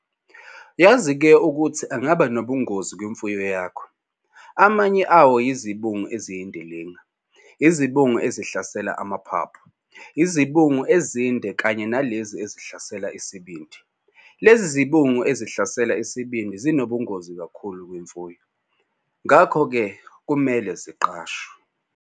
Yazi-ke ukuthi angaba nobungozi kumfuyo yakho. Amanye awo yizibungu eziyindilinga, izibungu ezihlasela amaphaphu, izibungu ezinde kanye nalezi ezihlasela isibindi. Lezi zibungu ezihlasela isibindi zinobungozi kakhulu kumfuyo, ngakho-ke kumele ziqashwe.